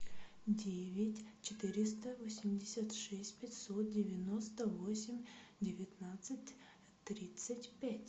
девять четыреста восемьдесят шесть пятьсот девяносто восемь девятнадцать тридцать пять